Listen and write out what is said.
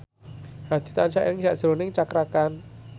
Hadi tansah eling sakjroning Cakra Khan